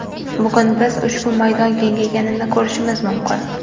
Bugun biz ushbu maydon kengayganini ko‘rishimiz mumkin.